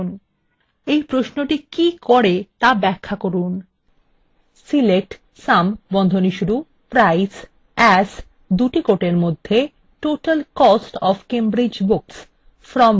4 এই প্রশ্নটি কী করে তা ব্যখ্যা করুন